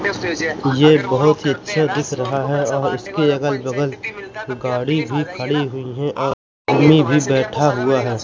यह बहुत ही अच्छा दिख रहा है और इसके अगल बगल गाड़ी भी खड़ी हुई हैं और आदमी भी बैठा हुआ है।